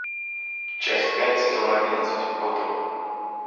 часть пять сезон одиннадцать готэм